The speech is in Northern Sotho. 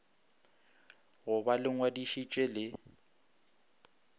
go ba le ngwadišitše le